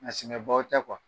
A siŋɛbaw tɛ .